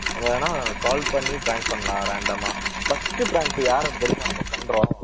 நம்ம வேணும்னா call பண்ணி prank பண்ணலாம் random ஆ. first prank யாரோட தெரியுமா நம்ம பண்றோம்